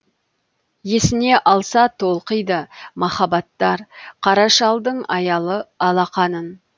есіне алса толқиды махаббаттар қара шалдың аялы алақанын